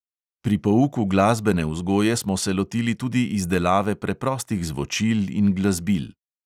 Pri pouku glasbene vzgoje smo se lotili tudi izdelave preprostih zvočil in glasbil.